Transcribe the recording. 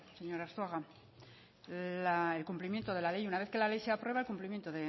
señor arzuaga el cumplimiento de la ley una vez que la ley se aprueba el cumplimiento